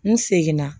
N seginna